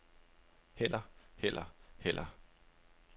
heller heller heller